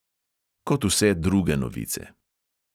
Kot vse druge novice.